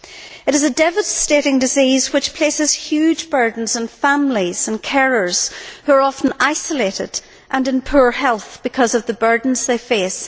It is a devastating disease which places huge burdens on families and carers, who are often isolated and in poor health because of the burdens they face.